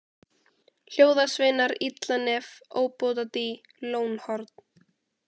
Hljóðasveinar, Illanef, Óbótadý, Lónhorn